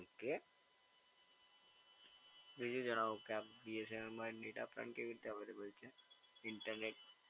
Okay. બીજું જણાવો કે BSNL માં dataplan કેવી રીતે અવૈલેબલ છે? ઈન્ટરનેટ